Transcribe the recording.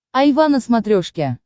айва на смотрешке